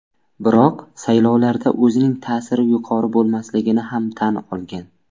Biroq saylovlarda o‘zining ta’siri yuqori bo‘lmasligini ham tan olgan.